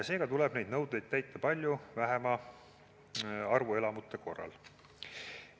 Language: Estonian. Seega tuleb neid nõudeid täita palju vähema arvu elamute korral.